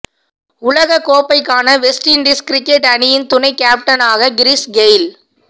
உலகக் கோப்பைக்கான West Indies cricket அணியின் துணை கேப்டனாக கிறிஸ் கெய்ல்